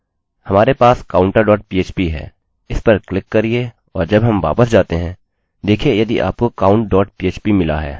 हमारे पास counterphp है इस पर क्लिक करिये और जब हम वापस जाते हैं देखिये यदि आपको countphp मिला है